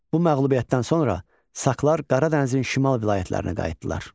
Bu məğlubiyyətdən sonra Saklar Qara Dənizin şimal vilayətlərinə qayıtdılar.